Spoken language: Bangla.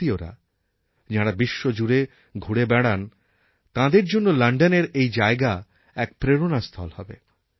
ভারতীয়রা যাঁরা বিশ্বজুড়ে ঘুরে বেড়ান তাঁদের জন্য লণ্ডনের এই জায়গা এক প্রেরণাস্থল হবে